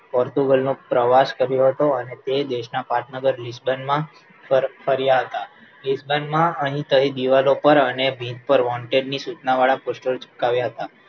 virtual નો પ્રવાસ કર્યો હતો અને તે દેશના પાટનગર લીસ્ટન માં ફર ફર્યા હતા લીસ્ટન માં અહીં તહીં દીવાલો પર અને ભીંત પર wanted ની સૂચનાવાળા poster ચીપકાવ્યા હતા